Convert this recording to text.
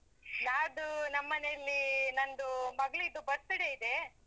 ನಾಡ್ದು ನಮ್ಮ ಮನೇಲಿ ನಂದು ಮಗಳಿದ್ದು birthday ಇದೆ.